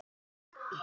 Ásbjörn og Hlíf.